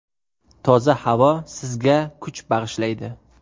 Toza havo sizga kuch bag‘ishlaydi.